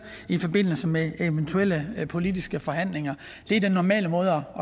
i forbindelse med eventuelle politiske forhandlinger det er den normale måde